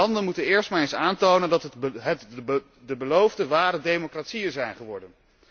De landen moeten eerst maar eens aantonen dat het de beloofde ware democratieën zijn geworden.